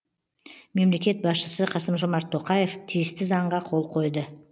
мемлекет басшысы қасымжомарт тоқаев тиісті заңға қол қойды